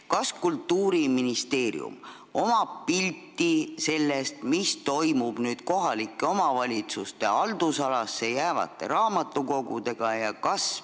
Kas Kultuuriministeeriumil on pilt sellest, mis kohalike omavalitsuste haldusalasse jäävate raamatukogudega toimub?